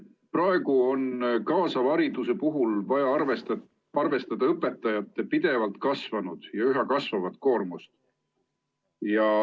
Praegu on kaasava hariduse puhul vaja arvestada õpetajate pidevalt kasvanud ja üha kasvavat koormust.